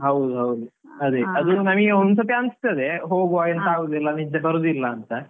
ಹೌದು ಹೌದು ಅದೇ ಒಂದು ಸಲ ಅನಿಸ್ತದೆ ಹೋಗುವ ಎಂತ ನಿದ್ದೆ ಬರುದಿಲ್ಲ ಅಂತ.